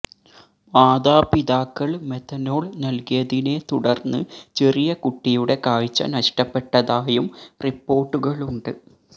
മതാപിതാക്കൾ methanol നൽകിയതിനെ തുടർന്ന് ചെറിയ കുട്ടിയുടെ കാഴ്ച നഷ്ടപ്പെട്ടതായും റിപ്പോർട്ടുകളുണ്ട്